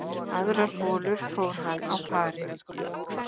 Aðrar holur fór hann á pari